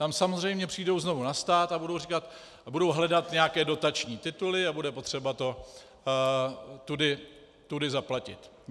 Tam samozřejmě přijdou znovu na stát a budou hledat nějaké dotační tituly a bude potřeba to tudy zaplatit.